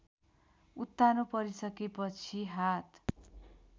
उत्तानो परिसकेपछि हात